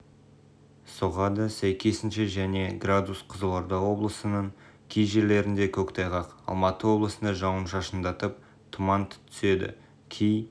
соғады сәйкесінше және градус қызылорда облысының кей жерлерінде көктайғақ алматы облысында жауын-шашындатып тұмант түседі кей